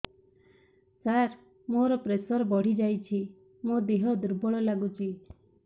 ସାର ମୋର ପ୍ରେସର ବଢ଼ିଯାଇଛି ମୋ ଦିହ ଦୁର୍ବଳ ଲାଗୁଚି